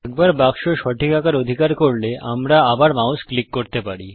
একবার বাক্স সঠিক আকার অধিকার করলে আমরা আবার মাউস ক্লিক করতে পারি